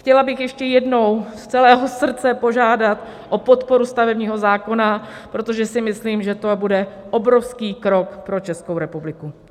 Chtěla bych ještě jednou z celého srdce požádat o podporu stavebního zákona, protože si myslím, že to bude obrovský krok pro Českou republiku.